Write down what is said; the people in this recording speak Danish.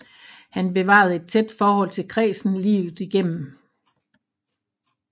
Han bevarede et tæt forhold til kredsen livet igennem